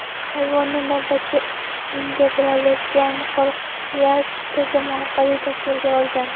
Hayvonni navbatchi integrallashgan qo‘riqlash tizimi orqali tasvirga olgan.